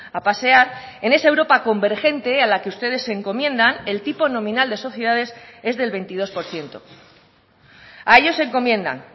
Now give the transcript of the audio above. a pasear en esa europa convergente a la que ustedes se encomiendan el tipo nominal de sociedades es del veintidós por ciento a ello se encomiendan